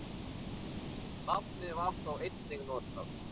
Safnið var þó einnig notað.